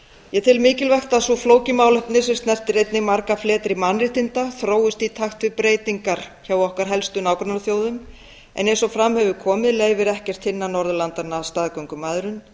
ég tel mikilvægt að svo flókið málefni sem snertir einnig marga fleti mannréttinda þróist í takt við breytingar hjá okkar helstu nágrannaþjóðum en eins og fram hefur komið leyfir ekkert hinna norðurlandanna staðgöngumæðrun